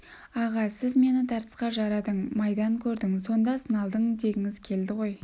аға сіз мені тартысқа жарадың майдан көрдің сонда сыналдың дегіңіз келеді ғой